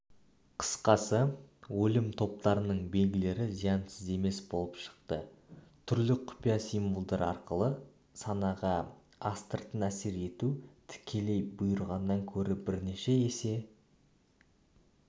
қысқасы өлім топтарының белгілері зиянсыз емес болып шықты түрлі құпия символдар арқылы санаға астыртын әсер ету тікелей бұйырғаннан көрі бірнеше есе